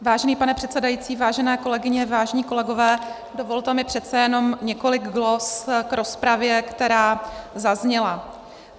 Vážený pane předsedající, vážené kolegyně, vážení kolegové, dovolte mi přece jenom několik glos k rozpravě, která zazněla.